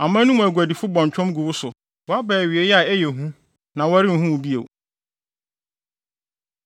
Aman no mu aguadifo bɔ ntwɔm gu wo so woaba awiei a ɛyɛ hu na wɔrenhu wo bio.’ ”